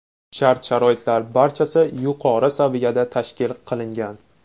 Shart-sharoitlar barchasi yuqori saviyada tashkil qilingan.